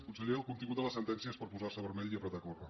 conseller el contingut de la sentència és per posar se vermell i apretar a córrer